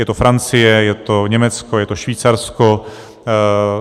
Je to Francie, je to Německo, je to Švýcarsko.